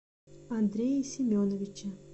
андрее семеновиче